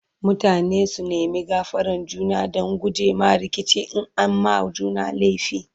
mutane su nema gafaran juna Dan gujema rikici in an ma juna laifi